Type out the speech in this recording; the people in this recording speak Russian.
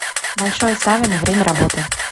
большое савино время работы